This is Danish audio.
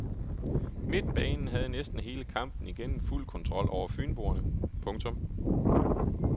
Midtbanen havde næsten hele kampen igennem fuld kontrol over fynboerne. punktum